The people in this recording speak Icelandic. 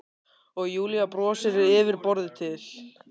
Og Júlía brosir yfir borðið til